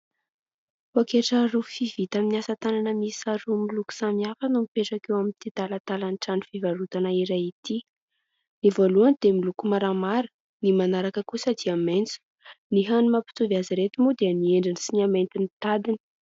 Pôketra rofia vita amin' ny asa tanana miisa roa miloko samihafa no mipetraka eo amin' ity talatalan' ny trano fivarotana iray ity. Ny voalohany dia miloko maramara, ny manaraka kosa dia maitso. Ny hany mampitovy azy ireto moa dia ny endriny sy ny hamainty ny tadiny.